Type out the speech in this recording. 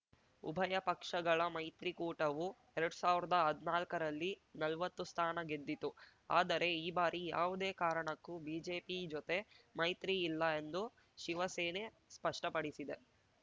ಉಭಯ ಪಕ್ಷಗಳ ಮೈತ್ರಿಕೂಟವು ಎರಡ್ ಸಾವಿರ್ದಾ ಹದ್ನಾಲ್ಕರಲ್ಲಿ ನಲ್ವತ್ತು ಸ್ಥಾನ ಗೆದ್ದಿತ್ತು ಆದರೆ ಈ ಬಾರಿ ಯಾವುದೇ ಕಾರಣಕ್ಕೂ ಬಿಜೆಪಿ ಜೊತೆ ಮೈತ್ರಿ ಇಲ್ಲ ಎಂದು ಶಿವಸೇನೆ ಸ್ಪಷ್ಟಪಡಿಸಿದೆ